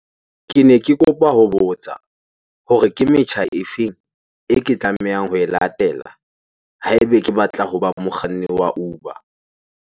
Kene ke kopa ho botsa hore ke metjha e feng e ke tlamehang ho e latela ha ebe ke batla hoba mokganni wa Uber?